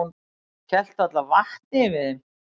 Hélt varla vatni yfir þeim.